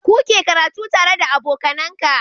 Kuke karatu tare da aboka Nan ka